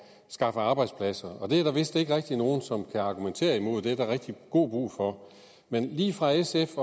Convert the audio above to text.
skaffe arbejdspladser og det er der vist ikke rigtig nogen som kan argumentere imod det er der rigtig god brug for men lige fra sf